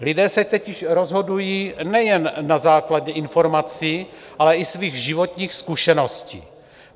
Lidé se totiž rozhodují nejen na základě informací, ale i svých životních zkušeností.